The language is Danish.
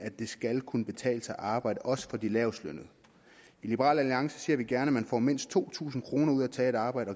det skal kunne betale sig at arbejde også for de lavest lønnede i liberal alliance ser vi gerne at man får mindst to tusind kroner ud af at tage et arbejde